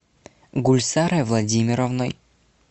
гульсарой владимировной